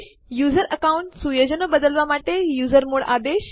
user account સુયોજનો બદલવા માટે યુઝરમોડ આદેશ